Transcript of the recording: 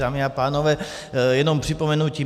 Dámy a pánové, jenom připomenutí.